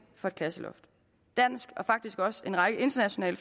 for et klasseloft danske og faktisk også en række internationale